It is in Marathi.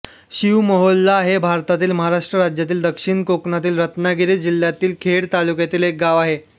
शिव मोहोल्ला हे भारतातील महाराष्ट्र राज्यातील दक्षिण कोकणातील रत्नागिरी जिल्ह्यातील खेड तालुक्यातील एक गाव आहे